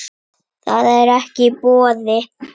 Það er ekki í boði.